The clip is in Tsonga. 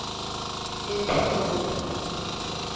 epitori